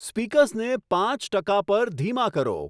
speakers ને પાંચ ટકા પર ધીમા કરો